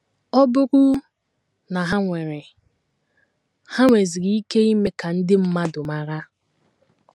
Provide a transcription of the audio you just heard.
Ọ bụrụ na ha nwere, ha nweziri ike ime ka ndị mmadụ mara. ”